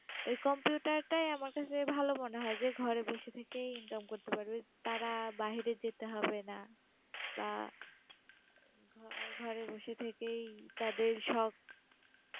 এই computer -টাই আমার কাছে ভালো মনে হয়, যে ঘরে বসে থেকেই income করতে পারব, তারা বাহিরে যেতে হবে না বা ঘ~ঘরে বসে থেকেই তাদের সব